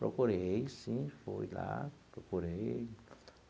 Procurei, sim, fui lá, procurei.